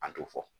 An t'o fɔ